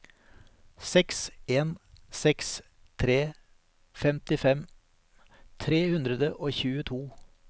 seks en seks tre femtifem tre hundre og tjueto